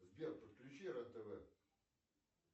сбер подключи рен тв